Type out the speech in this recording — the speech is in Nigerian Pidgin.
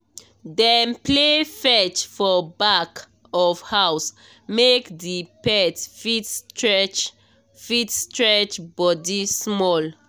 dem play fetch for back of house make the pet fit stretch fit stretch body small.